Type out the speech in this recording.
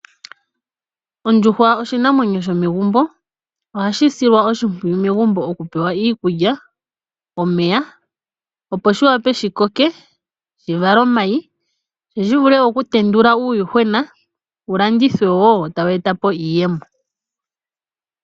Ondjuhwa oshinamwenyo shomegumbo, ohashi silwa oshimpwiyu megumbo oku pewa iikulya, omeya opo shawa oe shikoke sha vale omayi, sho shi vule woo okutendula uuyuhwena wulandithwe woo, wo tawu e ta po iiyemo.